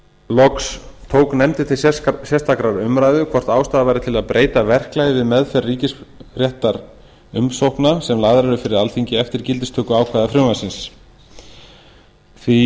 loks tók nefndin til sérstakrar umræðu hvort ástæða væri til að breyta verklagi við meðferð ríkisréttarumsókna sem lagðar eru fyrir alþingi eftir gildistökuákvæði frumvarpsins því